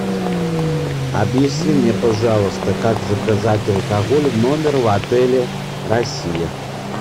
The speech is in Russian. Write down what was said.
объясни мне пожалуйста как заказать алкоголь в номер в отеле россия